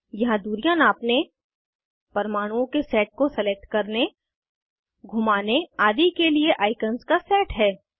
यहाँ दूरियां नापने परमाणुओं के सेट को सलेक्ट करने घूमाने आदि के लिए आइकन्स का सेट है